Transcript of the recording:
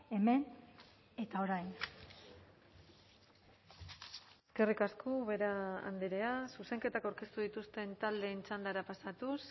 hemen eta orain eskerrik asko ubera andrea zuzenketak aurkeztu dituzten taldeen txandara pasatuz